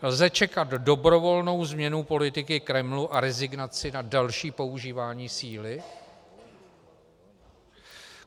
Lze čekat dobrovolnou změnu politiky Kremlu a rezignaci na další používání síly?